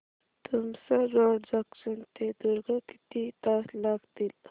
Tumsar road junction ते दुर्ग किती तास लागतील